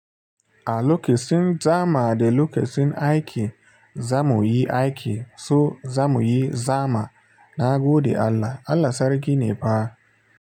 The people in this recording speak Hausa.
A lokacin zama da lokacin aiki, za mu yi aiki, so za mu yi zama na gode Allah. Allah sarki ne fa.